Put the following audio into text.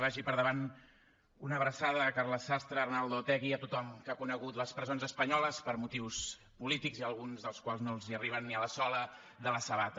vagi per endavant una abraçada a carles sastre a arnaldo otegi a tothom que ha conegut les presons espanyoles per motius polítics i alguns dels quals no els arriben ni a la sola de la sabata